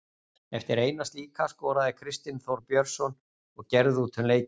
Eftir eina slíka skoraði Kristinn Þór Björnsson og gerði út um leikinn.